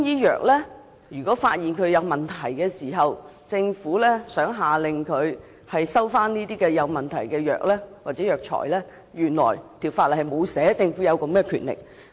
可是，如果發現中藥有問題而政府想下令回收問題藥物或藥材時，原來法例並無訂明政府有此權力。